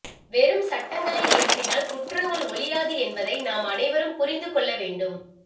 வெறும் சட்டங்களை இயற்றினால் குற்றங்கள் ஒழியாது என்பதை நாம் அனைவரும் புரிந்து கொள்ள வேண்டும்